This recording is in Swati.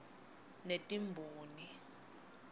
netimboni